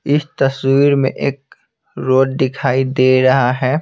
इस तस्वीर में एक रोड दिखाई दे रहा है।